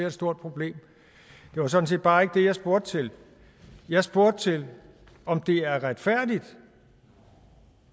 et stort problem det var sådan set bare ikke det jeg spurgte til jeg spurgte til om det er retfærdigt